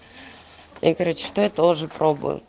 я короче то тоже пробую